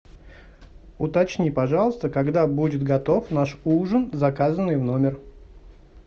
уточни пожалуйста когда будет готов наш ужин заказанный в номер